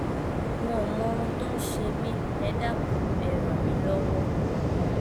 n ò mọ ohun tó ń ṣe mí ẹ dákun ẹ ràn mí lọwọ